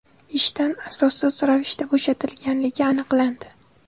ishdan asossiz ravishda bo‘shatilganligi aniqlandi.